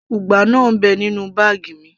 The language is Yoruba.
ugba náà ń bẹ nínú báàgì mi